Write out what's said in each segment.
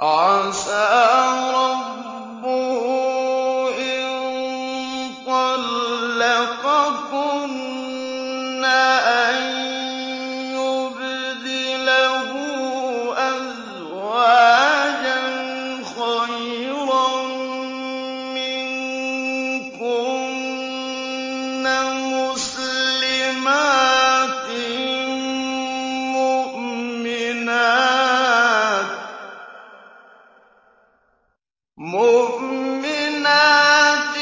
عَسَىٰ رَبُّهُ إِن طَلَّقَكُنَّ أَن يُبْدِلَهُ أَزْوَاجًا خَيْرًا مِّنكُنَّ مُسْلِمَاتٍ مُّؤْمِنَاتٍ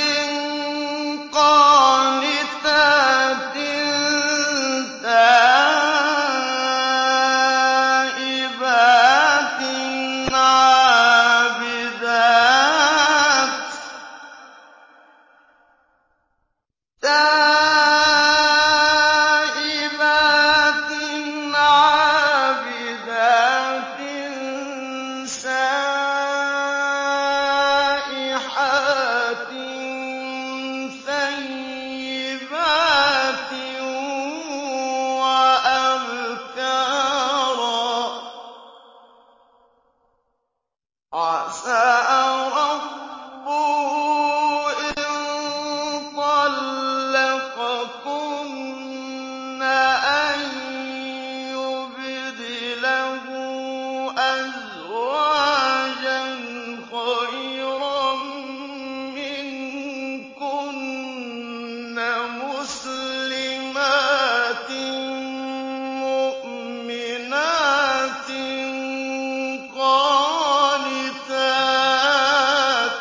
قَانِتَاتٍ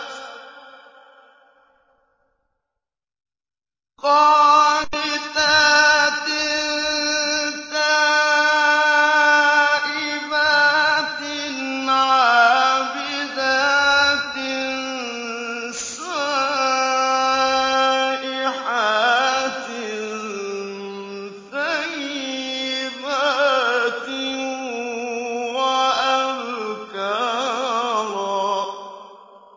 تَائِبَاتٍ عَابِدَاتٍ سَائِحَاتٍ ثَيِّبَاتٍ وَأَبْكَارًا